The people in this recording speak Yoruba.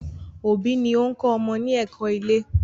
òbí ni o ń kọ́ ọmọ ní ẹ̀kọ́-ilé.